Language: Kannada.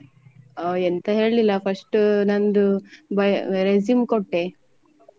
ಹ ಎಂತ ಹೇಳಿಲ್ಲ first ನಂದು resume ಕೊಟ್ಟೆ.